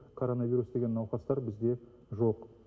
короновирус деген науқастар бізде жоқ